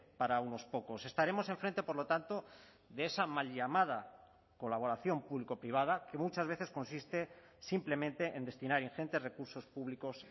para unos pocos estaremos enfrente por lo tanto de esa mal llamada colaboración público privada que muchas veces consiste simplemente en destinar ingentes recursos públicos